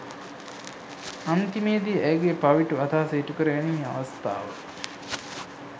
අන්තිමේදී ඇයගේ පවිටු අදහස ඉටුකරගැනීමේ අවස්ථාව